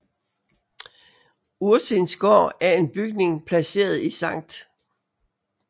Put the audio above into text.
Ursins Gård er en bygning placeret i Sct